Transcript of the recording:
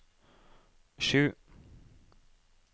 sju